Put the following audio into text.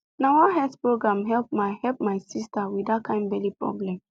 na one health program help my help my sister with that kind belly problem